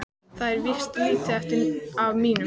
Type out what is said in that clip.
Það er víst lítið eftir af mínum!